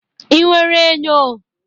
Ị nwere enyo?